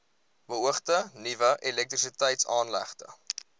beoogde nuwe elektrisiteitsaanlegte